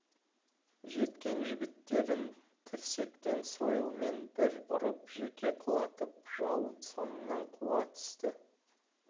жеткен жігіттерін тірсектен сойылмен бір ұрып жерге құлатып жау соңынан қуа түсті